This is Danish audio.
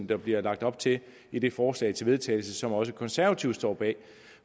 der bliver lagt op til i det forslag til vedtagelse som også konservative står bag